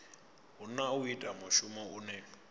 hana u ita mushumo une